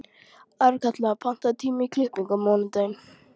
Arnkatla, pantaðu tíma í klippingu á mánudaginn.